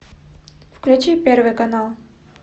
включи первый канал